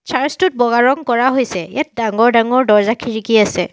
Search টোত বগা ৰং কৰা হৈছে ইয়াত ডাঙৰ ডাঙৰ দৰ্জা খিৰিকী আছে।